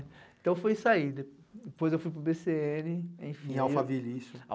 Então foi isso aí, de depois eu fui para o bê cê ene, enfim... Em Alphaville isso?